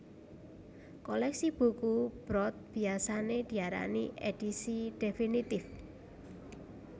Kolèksi buku Brod biasané diarani Édisi Définitif